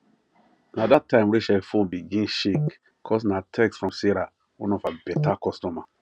na that time rachel phone begin shake cos na text from sarah one of her better customers